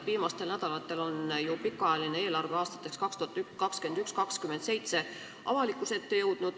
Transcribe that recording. Viimastel nädalatel on ju avalikkuse ette jõudnud pikaajaline eelarve aastateks 2021–2027.